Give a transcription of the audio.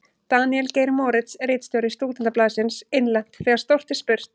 Daníel Geir Moritz, ritstjóri Stúdentablaðsins: Innlent: Þegar stórt er spurt.